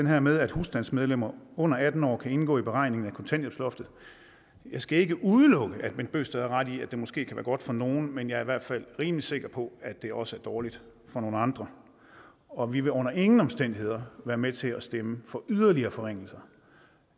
her med at husstandsmedlemmer under atten år kan indgå i beregningen af kontanthjælpsloftet jeg skal ikke udelukke at bent bøgsted har ret i at det måske kan være godt for nogle men jeg er i hvert fald rimelig sikker på at det også er dårligt for nogle andre og vi vil under ingen omstændigheder være med til at stemme for yderligere forringelser